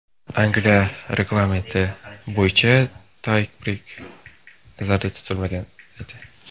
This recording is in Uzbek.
Angliya reglamenti bo‘yicha tay-breyk nazarda tutilmagan edi.